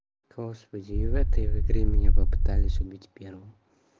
господи и в этой игре меня попытались убить первым